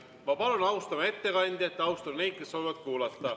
Ma palun, austame ettekandjat ja austame neid, kes soovivad kuulata.